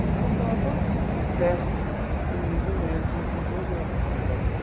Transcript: Então eu estava péssimo comigo mesmo e com toda a situação.